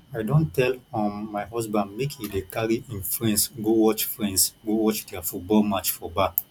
i don tell um my husband make he dey carry im friends go watch friends go watch their football match for bar